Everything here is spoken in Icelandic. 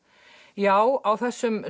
já á þessum